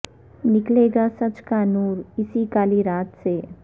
نکلے گا سچ کا نور اسی کالی رات سے